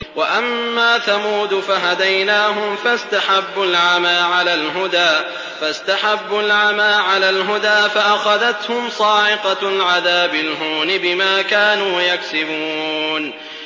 وَأَمَّا ثَمُودُ فَهَدَيْنَاهُمْ فَاسْتَحَبُّوا الْعَمَىٰ عَلَى الْهُدَىٰ فَأَخَذَتْهُمْ صَاعِقَةُ الْعَذَابِ الْهُونِ بِمَا كَانُوا يَكْسِبُونَ